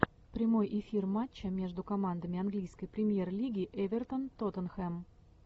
прямой эфир матча между командами английской премьер лиги эвертон тоттенхэм